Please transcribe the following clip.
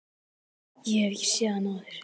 Ég hef ekki séð hann áður.